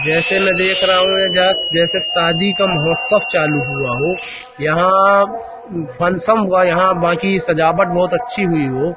जैसे मैं देख रहा हूं ये जास जैसे सादी का महोत्सव चालू हुआ हो। यहां फन्सम हुआ यहां बाकी सजावट बहोत अच्छी हुई हो।